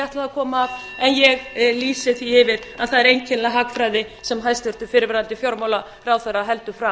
ætlaði að koma að en ég lýsi því yfir að það er einkennileg hagfræði sem hæstvirtur fyrrverandi fjármálaráðherra heldur fram